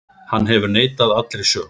Hann hefur neitað allri sök.